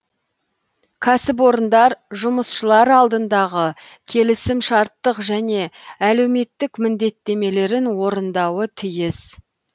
кәсіпорындар жұмысшылар алдындағы келісімшарттық және әлеуметтік міндеттемелерін орындауы тиіс